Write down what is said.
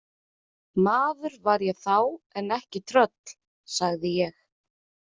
Maður var ég þá en ekki tröll, sagði ég.